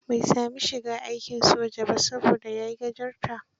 Bai saami shiga aikin soja ba, saboda yai gajarta.